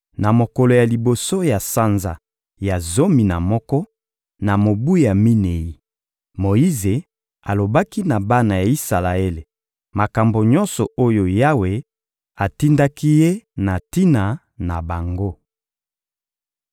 Na mokolo ya liboso ya sanza ya zomi na moko, na mobu ya minei, Moyize alobaki na bana ya Isalaele makambo nyonso oyo Yawe atindaki ye na tina na bango.